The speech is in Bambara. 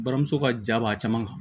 Buramuso ka ja b'a caman kan